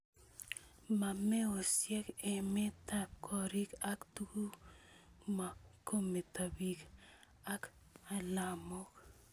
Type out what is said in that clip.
Mo meosiek emetab gorik ak tuguk mo kometo bik ak alamok